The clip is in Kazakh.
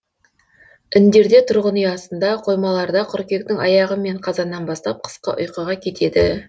індерде тұрғын үй астында қоймаларда қыркүйектің аяғы мен қазаннан бастап қысқы ұйқыға кетеді